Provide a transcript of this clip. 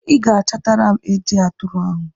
You ga-achatara m eji atụrụ ahụ.